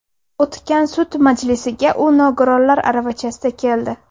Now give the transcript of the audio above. O‘tgan sud majlisiga u nogironlar aravachasida keldi.